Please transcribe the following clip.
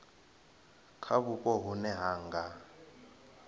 kha vhupo vhune ha nga